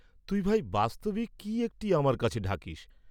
তুই ভাই, বাস্তবিক কি একটি আমার কাছে ঢাকিস্।